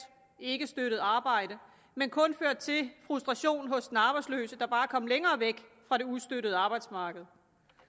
ikkestøttet arbejde men kun ført til frustration hos den arbejdsløse der bare er kommet længere væk fra det ustøttede arbejdsmarked